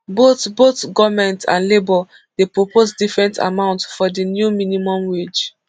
both both goment and labour dey propose different amount for di new minimum wage